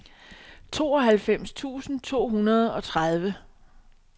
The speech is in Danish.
tooghalvfems tusind to hundrede og tredive